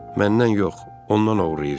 Məndən yox, ondan oğurlayırsan.